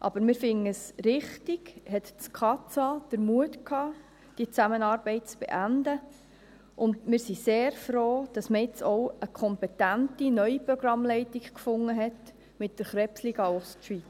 Aber wir finden es richtig, hatte das Kantonsarztamt (KAZA) den Mut, die Zusammenarbeit zu beenden, und wir sind sehr froh, dass man jetzt auch eine kompetente neue Programmleitung fand, mit der Krebsliga Ostschweiz.